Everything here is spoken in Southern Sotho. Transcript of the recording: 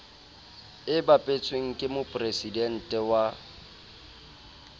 e bapetsweng ke mopresidente wa